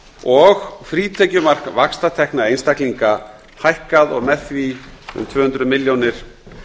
og frítekjumark vaxtatekna einstaklinga hækkað og með því um tvö hundruð milljónir